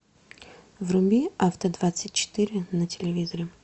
вруби авто двадцать четыре на телевизоре